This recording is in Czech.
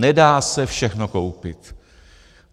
Nedá se všechno koupit.